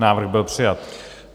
Návrh byl přijat.